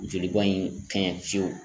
Joli bɔn in kɛɲɛ fiyewu.